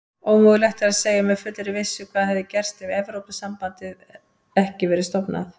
Ómögulegt er að segja með fullri vissu hvað hefði gerst hefði Evrópusambandið ekki verið stofnað.